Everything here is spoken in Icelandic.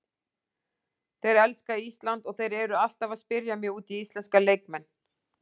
Þeir elska Ísland og þeir eru alltaf að spyrja mig út í íslenska leikmenn.